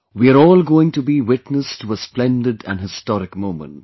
We are all going to be witness to a splendid and historic moment